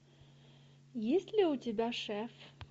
есть ли у тебя шеф